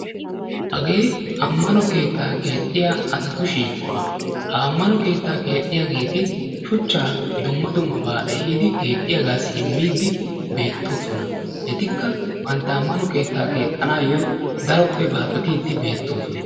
Hagee ammano keettaa keexxiya asatu shiiquwa ha ammano keettaa keexxiyageeti shuchchaa dumma dummabaa ehiidi keexxiyagaassi immiiddi beettoosona etikka bantta keettaa keexxanaayyo daroppe baaxetiiddi beettoosona.